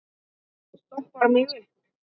Stoppar mig upp?